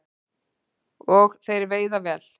Og þeir veiða vel